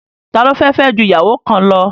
Ta ló fẹ́ fẹ́ ju ìyàwó kan lọ?.